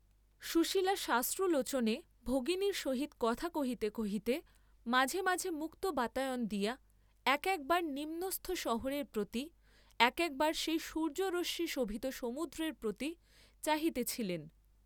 সুশীলা সাশ্রুলোচনে ভগিনীর সহিত কথা কহিতে কহিতে মাঝে মাঝে মুক্ত বাতায়ন দিয়া এক একবার নিম্নস্থ শহরের প্রতি, এক একবার সেই সূর্য্যরশ্মিশোভিত সমুদ্রের প্রতি চাহিতেছিলেন।